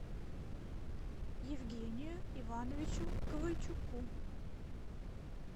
евгению ивановичу ковальчуку